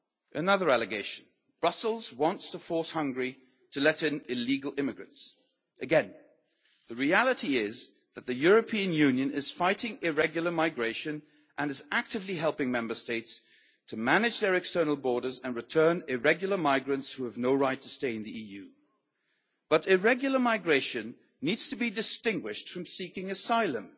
Another allegation Brussels wants to force Hungary to let in illegal immigrants. Again, the reality is that the European Union is fighting irregular migration and is actively helping Member States to manage their external borders and return irregular migrants who have no right to stay in the EU, but irregular migration needs to be distinguished from seeking asylum.